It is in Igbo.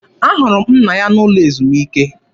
Ahụrụ m nna ya n'ụlọ ezumike.